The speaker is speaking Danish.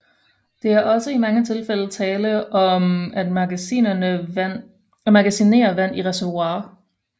Det er også i mange tilfælde tale om at magasinere vand i reservoirer